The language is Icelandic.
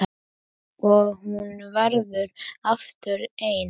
Og hún verður aftur ein.